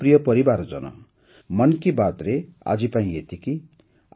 ମୋର ପ୍ରିୟ ପରିବାରଜନ ମନ୍ କି ବାତ୍ରେ ଆଜିପାଇଁ ଏତିକି